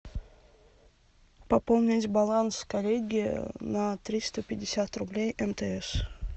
пополнить баланс коллеги на триста пятьдесят рублей мтс